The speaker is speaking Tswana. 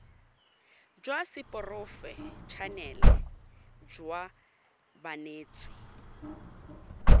jwa seporofe enale jwa banetshi